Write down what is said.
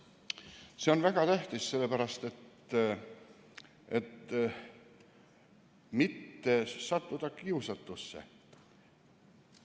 See on väga tähtis, et mitte sattuda kiusatusse.